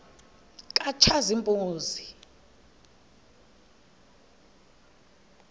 katshazimpuzi